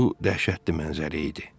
Bu dəhşətli mənzərə idi.